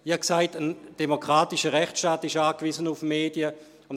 Ich habe gesagt, ein demokratischer Rechtsstaat sei auf Medien angewiesen.